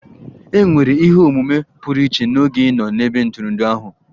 È nwere ihe omume pụrụ iche n'oge ị nọ n'ebe ntụrụndụ ahụ?